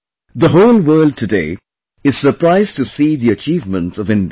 The whole world, today, is surprised to see the achievements of India